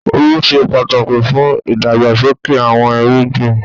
Omi ṣe pàtàkì fún ìdàgbàsókè àwọn irúgbìn.